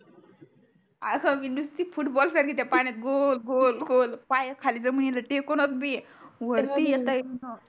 अस मी निस्ती फुटबॉल सारखी त्या पाण्यात गोल गोल गोल पाय खाली जमिनीले टेकोनोत बी वरती येता येईणा